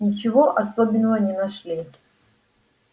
ничего особенного не нашли